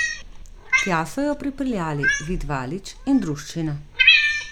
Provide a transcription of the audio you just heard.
Tja so jo pripeljali Vid Valič in druščina.